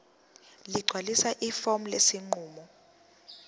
ligcwalise ifomu lesinqumo